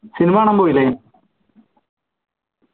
cinema കാണാൻ പോയില്ലേ